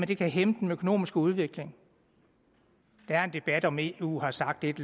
det kan hæmme den økonomiske udvikling der er en debat om hvorvidt de i eu har sagt et